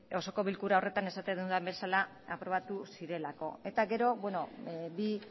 eta beno bi